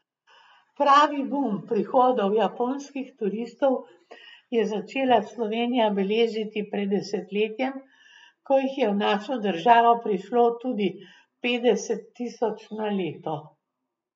Pravi bum prihodov japonskih turistov je začela Slovenija beležiti pred desetletjem, ko jih je v našo državo prišlo tudi petdeset tisoč na leto.